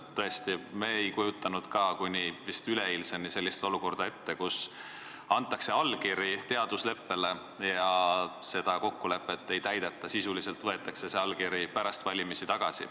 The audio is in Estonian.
Tõesti, me ei kujutanud ka kuni üleeilseni ette sellist olukorda, kus antakse allkiri teaduse rahastamise leppele, aga seda kokkulepet ei täideta, sisuliselt võetakse allkiri pärast valimisi tagasi.